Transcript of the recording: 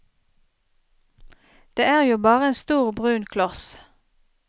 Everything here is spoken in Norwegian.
Det er jo bare en stor, brun kloss.